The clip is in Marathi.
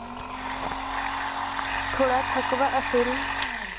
थोडा थकवा असेल.